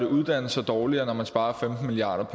uddannelser dårligere når man sparer femten milliard